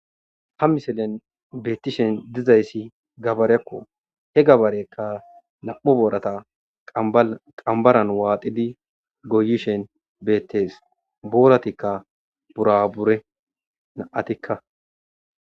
Ha missilezi gabareko he gabareka nam'u borata qambaran waxidi goyishen betes boratika burabure nam'atika.